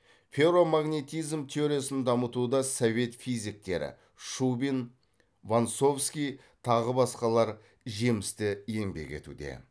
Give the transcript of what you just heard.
ферромагнетизм теориясын дамытуда совет физиктері шубин вонсовский тағы басқалар жемісті еңбек етуде